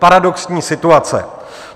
Paradoxní situace.